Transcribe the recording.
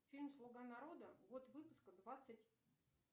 фильм слуга народа год выпуска двадцать